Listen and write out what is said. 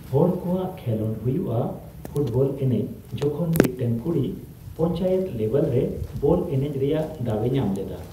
ᱦᱚᱲ ᱠᱚᱣᱟᱜ ᱠᱷᱮᱸᱞᱳᱰ ᱦᱩᱭᱩᱜᱼᱟ ᱯᱷᱩᱴᱵᱚᱞ ᱮᱱᱮᱡ᱾ ᱡᱚᱠᱷᱚᱱ ᱢᱤᱫᱴᱮᱱ ᱠᱩᱲᱤ ᱯᱚᱧᱪᱟᱭᱮᱛ ᱞᱮᱵᱮᱞ ᱨᱮ ᱵᱚᱞ ᱮᱱᱮᱡ ᱨᱮᱭᱟᱜ ᱫᱟᱣᱮ ᱧᱟᱢ ᱞᱮᱫᱟ